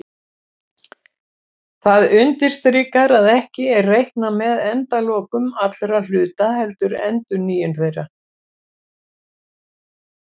Það undirstrikar að ekki er reiknað með endalokum allra hluta heldur endurnýjun þeirra.